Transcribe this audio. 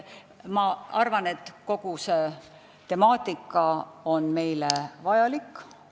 Ma arvan, et kogu see temaatika on meile vajalik.